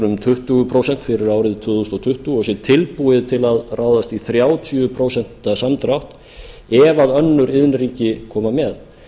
um tuttugu prósent fyrir árið tvö þúsund tuttugu og sé tilbúið til að ráðast í þrjátíu prósent samdrátt ef önnur iðnríki koma með